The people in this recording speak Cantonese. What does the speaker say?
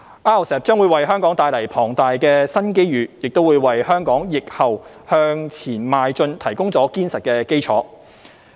RCEP 將為香港帶來龐大的新機遇，亦為香港疫後向前邁進提供了堅實的基礎。